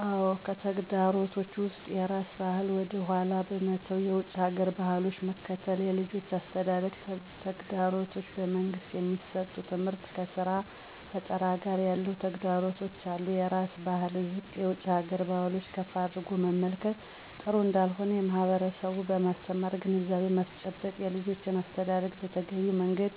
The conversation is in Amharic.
አዎ! ከተግዳሮቶች ውስጥም የራስን ባህል ወደ ኃላ በመተው የውጭ ሀገር ባህሎችን መከተል፣ የልጆች የአስተዳደግ ተግዳሮቶች፣ በመንግስት የሚሠጠው ትምህርት ከስራ ፈጠራ ጋር ያለው ተግዳሮቶች አሉ። -የራስን ባህል ዝቅ የውጭ ሀገር ባህሎችን ከፍ አድርጎ መመልከት ጥሩ እንዳልሆነ ማህበረሠቡን በማስተማር ግንዛቤ ማስጨበጥ። -የልጆችን አስተዳደግ በተገቢው መንገድ